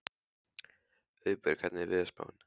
Auðberg, hvernig er veðurspáin?